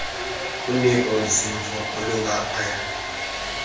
uniko zimvo olungaphaya